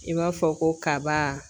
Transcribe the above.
I b'a fɔ ko kaba